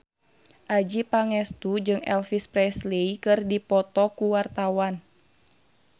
Adjie Pangestu jeung Elvis Presley keur dipoto ku wartawan